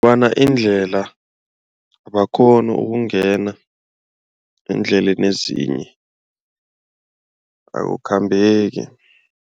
Bona indlela abakghoni ukungena eendleleni ezinye akukhambeki.